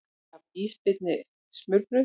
Gaf ísbirni smurbrauð